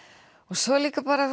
svo er líka bara